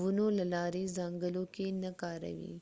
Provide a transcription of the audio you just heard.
ونو له لارې زانګلو کې نه کاروئ